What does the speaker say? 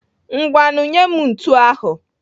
Ngwanụ nyee m ntu ahụ.